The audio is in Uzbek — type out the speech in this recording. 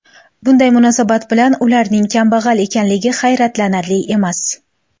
Bunday munosabat bilan ularning kambag‘al ekanligi hayratlanarli emas.